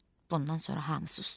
Bundan sonra hamı susdu.